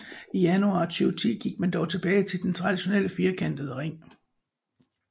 I januar 2010 gik man dog tilbage til den traditionelle firkantede ring